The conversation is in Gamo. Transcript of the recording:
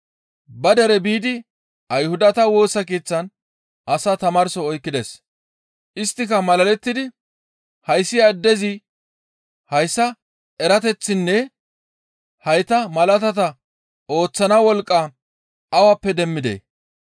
Ba dere biidi Ayhudata Woosa Keeththan asaa tamaarso oykkides. Isttika malalettidi, «Hayssi addezi hayssa erateththaanne hayta malaatata ooththana wolqqa awappe demmidee?